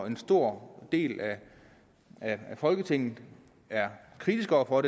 en stor del af folketinget er kritisk over for